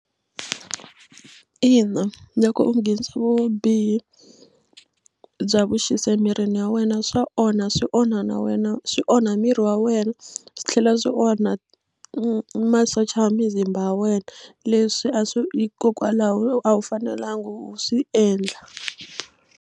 Ina, loko u nghenisa vubihi bya vuxisi emirini wa wena swa onha swi onha na wena swi onha miri wa wena swi tlhela swi onha masocha ya mizimba ya wena leswi a swi hikokwalaho a wu fanelanga u swi endla.